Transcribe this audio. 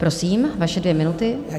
Prosím, vaše dvě minuty.